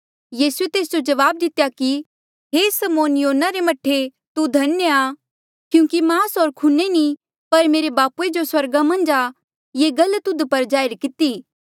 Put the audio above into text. यीसूए तेस जो जवाब दितेया कि हे समौन योना रे मह्ठे तू धन्य आ क्यूंकि मांस होर खूने नी पर मेरे बापूए जो स्वर्गा मन्झा आ ये गल तुध पर जाहिर किती